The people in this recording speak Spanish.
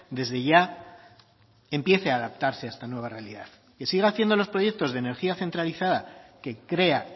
desde ya empiece a adaptarse a esta nueva realidad que siga haciendo los proyectos de energía centralizada que crea